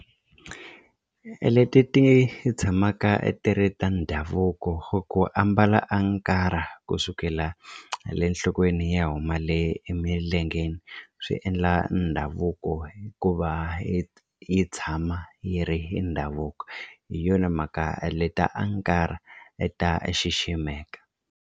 Leti ti tshamaka ti ri ta ndhavuko ku ambala ankara kusukela le nhlokweni yi ya huma le emilengeni swi endla ndhavuko hikuva yi yi tshama yi ri hi ndhavuko hi yona mhaka leta ankara ta xiximeka.